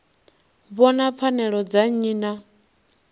vhona pfanelo dza nnyi na